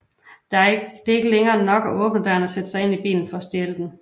Det er ikke længere nok at åbne døren og sætte sig ind i en bil for at stjæle den